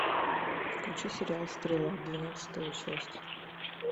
включи сериал стрела двенадцатая часть